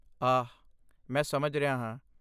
ਆਹ, ਮੈਂ ਸਮਝ ਰਿਹਾ ਹਾਂ।